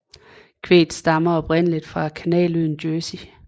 Kvæget stammer oprindeligt fra kanaløen Jersey